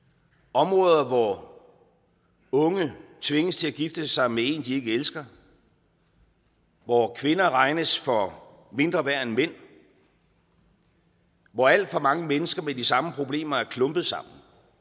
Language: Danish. områder hvor unge tvinges til at gifte sig med en de ikke elsker hvor kvinder regnes for mindre værd end mænd hvor alt for mange mennesker med de samme problemer er klumpet sammen